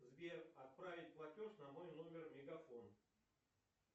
сбер отправить платеж на мой номер мегафон